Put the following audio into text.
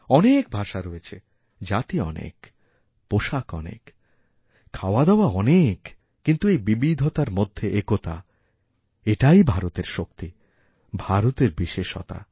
অনেক ভাষা রয়েছে জাতি অনেক পোষাক অনেক খাওয়াদাওয়া অনেক কিন্তু এইবিবিধতার মধ্যে একতা এটাই ভারতের শক্তি ভারতের বিশেষতা